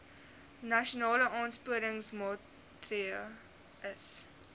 nasionale aansporingsmaatre ls